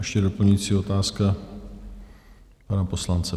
Ještě doplňující otázka pana poslance.